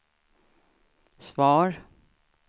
svar